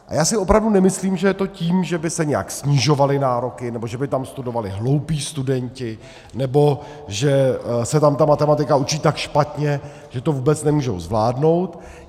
A já si opravdu nemyslím, že je to tím, že by se nějak snižovaly nároky nebo že by tam studovali hloupí studenti nebo že se tam ta matematika učí tak špatně, že to vůbec nemůžou zvládnout.